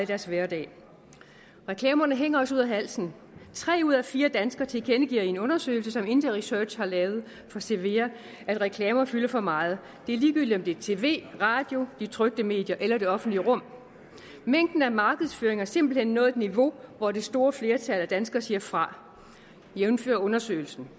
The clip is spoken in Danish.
deres hverdag reklamerne hænger os ud af halsen tre ud af fire danskere tilkendegiver i en undersøgelse som interresearch har lavet for cevea at reklamer fylder for meget det er ligegyldigt det tv i radioen i de trykte medier eller i det offentlige rum mængden af markedsføring har simpelt hen nået et niveau hvor det store flertal af danskerne siger fra jævnfør undersøgelsen